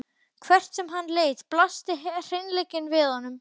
Hvert sem hann leit blasti hreinleikinn við honum.